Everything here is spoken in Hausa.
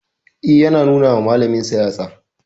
E, yana nuna wa malaminsa yatsa.